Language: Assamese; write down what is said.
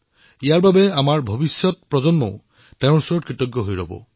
ইয়াৰ বাবে ভৱিষ্যতৰ প্ৰজন্ম তেওঁৰ প্ৰতি কৃতজ্ঞ হৈ ৰব